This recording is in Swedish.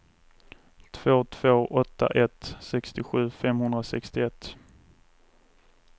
två två åtta ett sextiosju femhundrasextioett